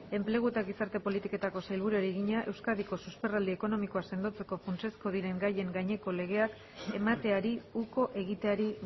enplegu eta gizarte politiketako sailburuari egina euskadiko susperraldi ekonomikoa sendotzeko funtsezko diren gaien gaineko legeak emateari uko egiteari